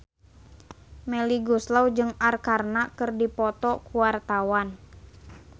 Melly Goeslaw jeung Arkarna keur dipoto ku wartawan